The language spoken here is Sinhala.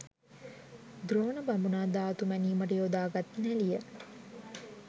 ද්‍රෝණ බමුණා ධාතු මැනීමට යොදාගත් නැළිය